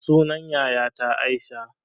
Sunan yayata aisha